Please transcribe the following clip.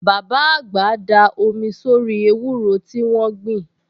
Bàbá àgbà da omi sórí ewúro tí wọ́n gbìn